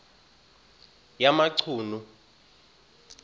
yamachunu